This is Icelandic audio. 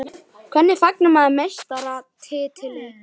Hvernig fagnar maður meistaratitli?